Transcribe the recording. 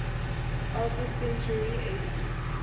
alpha centauri ab